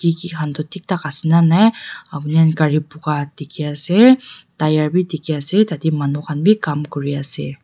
Eje khan tu thik tak ase nanai upne khan gare puka dekhe ase tire beh dekhe ase tate manu khan beh kam kure ase.